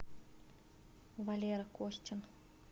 валера костин